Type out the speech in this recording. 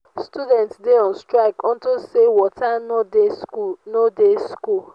students dey on strike unto say water no dey school no dey school